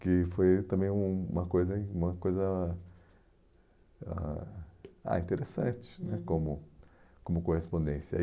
Que foi também uma coisa uma coisa ãh ah interessante né como como correspondência.